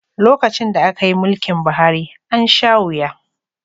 Lokacin da aka yi mulkin Buhari, an sha wuya